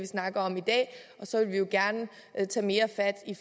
snakker om i dag og så vil vi jo gerne tage mere fat i